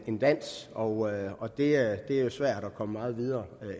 en dans og og det er jo svært at komme meget videre